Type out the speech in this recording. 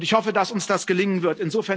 Ich hoffe, dass uns das gelingen wird.